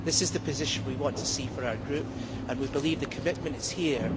This is the position we want to see for our group, and we believe the commitment is here.